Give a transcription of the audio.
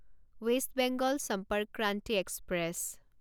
west Bengal Sampark Kranti express